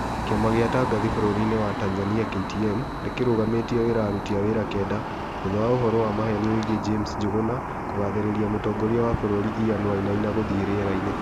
Kĩama gĩa atangathi bũrũri-inĩ wa Tanzania KTN, nĩkĩrũgamĩtie wĩra aruti a wĩra kenda thutha wa ũhoro wa maheni wĩgie James Njuguna kũgathĩrĩria mũtongoria wa bũrũri Ian Wainaina gũthiĩ riera-inĩ